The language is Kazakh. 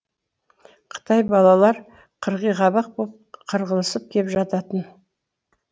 қытай балалар қырғиқабақ боп қырылысып кеп жататын